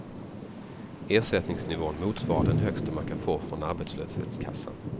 Ersättningsnivån motsvarar den högsta man kan få från arbetslöshetskassan.